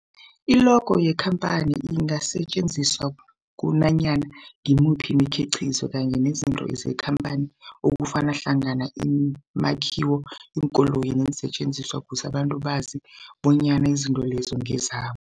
I-logo yekhamphani ingasetjenziswa kunanyana ngimuphi umkhiqizo kanye nezinto zekhamphani okufaka hlangana imakhiwo, iinkoloyi neensentjenziswa ukuze abantu bazi bonyana izinto lezo ngezabo.